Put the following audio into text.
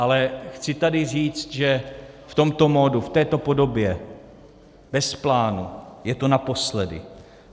Ale chci tady říct, že v tomto modu, v této podobě bez plánu je to naposledy.